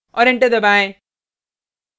औऱ एंटर दबाएँ